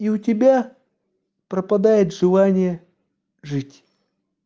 и у тебя пропадает желание жить